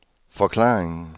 forklaringen